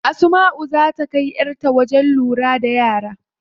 Asmau zaa ta kai yar ta wajen lura da yara.